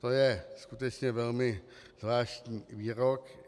To je skutečně velmi zvláštní výrok.